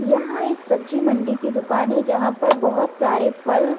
यहाँ एक सब्जी मंडी की दुकान है जहां पर बहोत सारे फल--